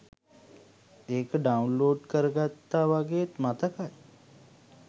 ඒක ඩවුන්ලෝඩ් කරගත්තා වගෙත් මතකයි